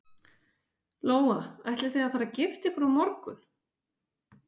Lóa: Ætlið þið að fara að gifta ykkur á morgun?